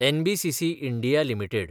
NBCC (India) limited